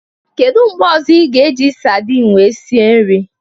Kedu mgbe ozo ị ga eji sardin wee sie nri